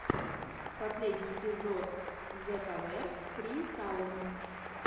включи беовульф четыреста двадцать два вот на ютубе